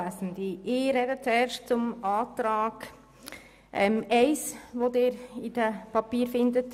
Ich spreche zuerst zum Antrag 1 zum Themenblock 6.g.